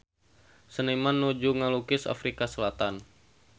Seniman nuju ngalukis Afrika Selatan